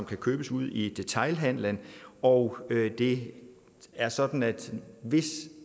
kan købes ude i detailhandelen og det er sådan at hvis